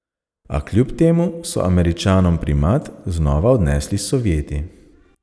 A kljub temu so Američanom primat znova odnesli Sovjeti.